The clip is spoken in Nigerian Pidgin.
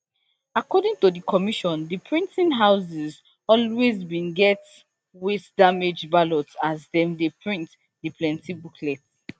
according to di commission di printing houses always bin get wastedamaged ballots as dem dey print di plenti booklets